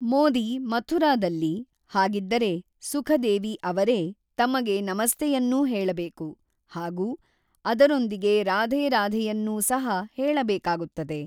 ಮೋದಿ ಮಥುರಾದಲ್ಲಿ, ಹಾಗಿದ್ದರೆ ಸುಖದೇವಿ ಅವರೇ, ತಮಗೆ ನಮಸ್ತೆಯನ್ನೂ ಹೇಳಬೇಕು, ಹಾಗೂ ಅದರೊಂದಿಗೆ ರಾಧೇ ರಾಧೇಯನ್ನೂ ಸಹ ಹೇಳಬೇಕಾಗುತ್ತದೆ.